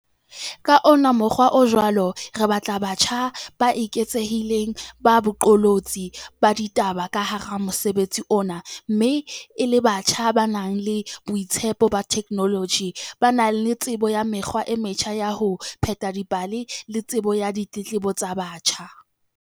Ka ona mokgwa o jwalo, re batla batjha ba eketsehileng ba baqolotsi ba ditaba ka hara mosebetsi ona mme e le batjha ba nang le boitsebelo ba theknoloji, ba na le tsebo ya mekgwa e metjha ya ho pheta dipale le tsebo ya ditletlebo tsa batjha.